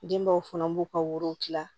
Denbaw fana b'u ka worow kila